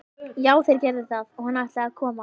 Já, þeir gerðu það og hann ætlaði að koma.